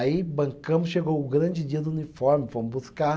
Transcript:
Aí, bancamos, chegou o grande dia do uniforme, fomos buscar.